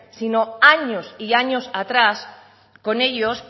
sino años y años atrás con ellos